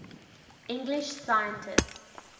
english scientists